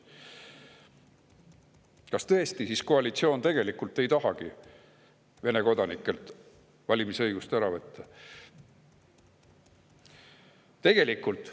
Kas tõesti koalitsioon ei tahagi tegelikult Vene kodanikelt valimisõigust ära võtta?